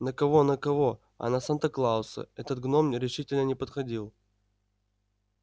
на кого на кого а на санта-клауса этот гном решительно не походил